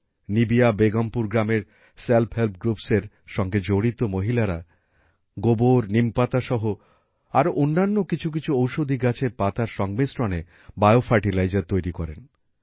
নিবিয়া বেগমপুর গ্রামের self help groups এর সঙ্গে জড়িত মহিলারা গোবর নিমপাতা সহ আরও অন্য কিছু কিছু ওষধি গাছের পাতার সংমিশ্রণে বিও ফার্টিলাইজার তৈরী করেন